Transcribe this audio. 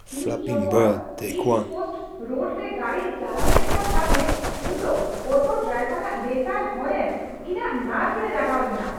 ᱤᱧ ᱡᱚᱠᱷᱚᱱ ᱤᱥᱴᱠᱳᱥᱴ ᱨᱳᱰᱨᱮ ᱜᱟᱹᱰᱤᱧ ᱪᱟᱞᱟᱣ ᱮᱫᱠᱟᱱ ᱛᱟᱦᱮᱸᱫ ᱩᱱᱫᱚ ᱚᱴᱳ ᱰᱟᱭᱵᱚᱨᱼᱟᱜ ᱞᱮᱛᱟᱲ ᱦᱚᱨᱮᱱ ᱤᱧᱟᱹᱜ ᱱᱟᱨᱵᱷ ᱨᱮ ᱞᱟᱜᱟᱣ ᱞᱮᱱᱟ ᱾